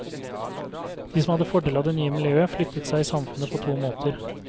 De som hadde fordel av det nye miljøet, flyttet seg i samfunnet på to måter.